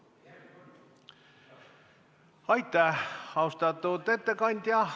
Aitäh, austatud ettekandja!